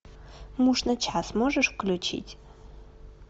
муж на час можешь включить